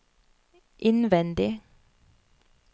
innvendig